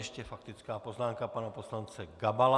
Ještě faktická poznámka pana poslance Gabala.